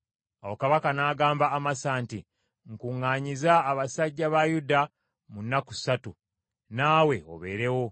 Awo kabaka n’agamba Amasa nti, “Nkuŋŋaanyiza abasajja ba Yuda mu nnaku ssatu, naawe obeerewo.”